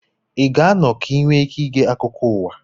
ị ga-anọ ka ị nwee ike ige akụkọ ụwa